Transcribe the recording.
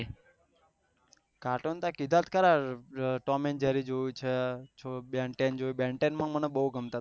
cartoon તને કીધા તો ખરા ટોમ એન્ડ જેરી જોયું છે બેન ટેન બેન ટેન માં મને બહુ ગમતા થા